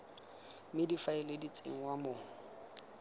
mme difaele di tsenngwa mo